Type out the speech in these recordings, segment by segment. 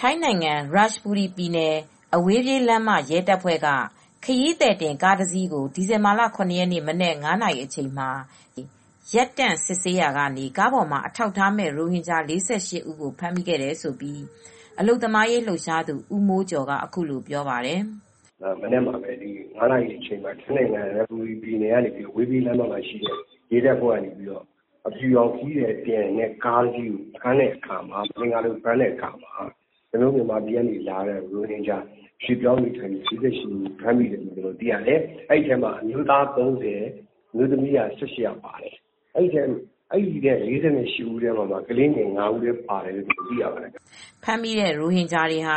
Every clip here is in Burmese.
ထိုင်းနိုင်ငံ ရတ်ချ်ဘူရီပြည်နယ် အဝေးပြေးလမ်းမ ရဲတပ်ဖွဲ့က ခရီးသည်တင် ကားတစီးကို ဒီဇင်ဘာလ ၇ ရက်နေ့မနက် ၅ နာရီအချိန်မှာ တားဆီးစစ်ဆေးရာမှာ ကားပေါ်မှာ အထောက်အထားမဲ့ ရိုဟင်ဂျာ ၄၈ ဦးကို ဖမ်းမိခဲ့တယ်လို့ အလုပ်သမားရေးလှုပ်ရှားသူ ဦးမိုးကျော်က အခုလိုပြောပြပါတယ်။ " ဒီမနက် ၅ နာရီအချိန်လောက်မှာ ထိုင်းနိုင်ငံ ရတ်ချ်ဘူရီပြည်နယ်ထဲက အဝေးပြေးလမ်း ရဲတပ်ဖွဲ့က အဖြူရောင် ခရီးသည်တင်ကားကို ဖမ်းဆီးတဲ့အခါမှာ ၊ မသင်္ကာလို့ဖမ်းတဲ့အခါမှာ ကျနော်တို့ မြန်မာနိုင်ငံကလာတဲ့ ရိုဟင်ဂျာ ၄၈ ဦးကို ဖမ်းမိပါတယ်။ အဲဒီထဲမှာ အမျိုးသား ၃၀ ၊ အမျိုးသမီး ၁၈ ဦး အဲဒီလူတွေထဲမှာ ကလေးငယ်က ၅ ဦး ပါတယ်လို့သိရပါတယ်။" ဖမ်းမိတဲ့ ရိုဟင်ဂျာတွေဟာ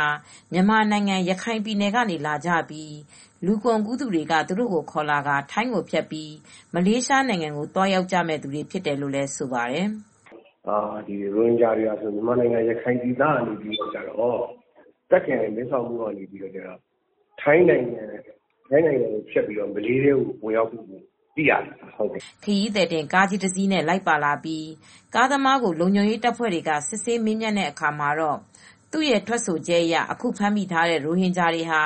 မြန်မာနိုင်ငံ ရခိုင်ကနေ လာကြပြီး လူကုန်ကူးသူတွေက သူတို့ကိုခေါ်လာရင်း ထိုင်းကိုဖြတ်ကာ မလေးရှားနိုင်ငံကို သွားရောက်ကြမယ့်သူတွေ ဖြစ်တယ်လို့လည်း ဆိုပါတယ်။ " ရိုဟင်ဂျာတွေဟာ မြန်မာနိုင်ငံကဖြစ်ပြီး တာခ့်ပြည်နယ် မဲဆောက်မြို့ကနေ ထိုင်းနိုင်ငံကိုဖြတ်ပြီးတော့ မလေးရှားနိုင်ငံကို ဝင်ရောက် အလုပ်လုပ်ကိုင်ကြမယ့်သူတွေ ဖြစ်တယ်လို့သိရပါတယ်။" ခရီသည်တင် ကားကြီးတစီးနဲ့ လိုက်ပါလာပြီး ကားသမားကို လုံခြုံရေးတပ်ဖွဲ့တွေ စစ်ဆေးမေးမြန်းတဲ့အခါ သူရဲ့ ထွက်ဆိုချက်အရ အခုဖမ်းမိထားတဲ့ ရိုဟင်ဂျာတွေဟာ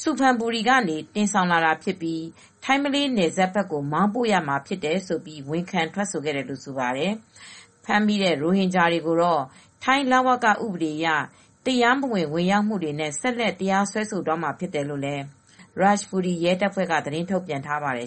ဆူဖန်ဘူရီကနေ တင်ဆောင်လာတာဖြစ်ပြီး ထိုင်းမလေးနယ်စပ်ကို မောင်းပို့မှာဖြစ်တယ်လို့ ဝန်ခံထွက်ဆိုခဲ့တယ်လို့ ဆိုပါတယ်။ ဖမ်းမိတဲ့ ရိုဟင်ဂျာတွေကိုတော့ ထိုင်း လဝကဥပဒေအရ တရားမဝင် ဝင်ရောက်လာမှုနဲ့ ဆက်လက် တရားဆွဲဆိုသွားမှာ ဖြစ်တယ်လို့ ရတ်ချ်ဘူရီ ရဲတပ်ဖွဲ့က သတင်းထုတ်ပြန်ထားပါတယ်